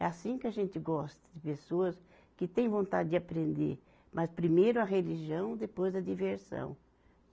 É assim que a gente gosta de pessoas que têm vontade de aprender, mas primeiro a religião, depois a diversão.